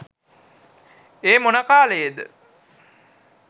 ඒ මොන කාලයේද